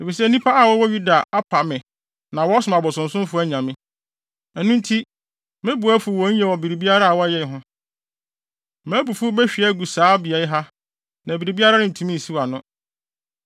Efisɛ nnipa a wɔwɔ Yuda apa me na wɔsom abosonsomfo anyame. Ɛno nti, me bo afuw wɔn yiye wɔ biribiara a wɔayɛ ho. Mʼabufuw behwie agu saa beae ha, na biribiara rentumi nsiw ano.’